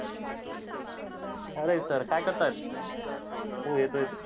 अरे sir काय करताय? हो येतो येतो.